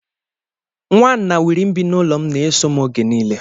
Nwa nnanwiri bi n'ụlọ m, na-eso m oge nile.